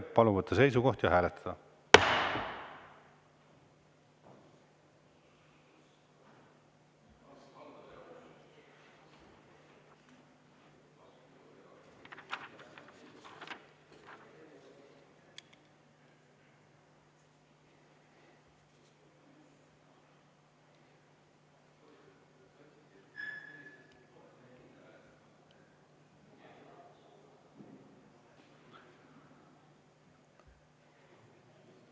Palun võtta seisukoht ja hääletada!